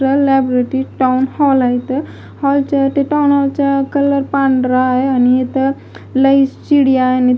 त्या लायब्ररीत town hall आहेत हॉलच्या टाऊन हॉलचा कलर पांढरा आहे आणि हित लई चिडियाँ आहेत.